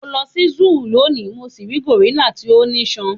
mo lọ si Zoo loni mo si ri gorilla ti o niṣan